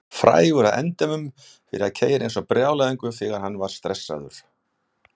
Frægur að endemum fyrir að keyra eins og brjálæðingur þegar hann var stressaður.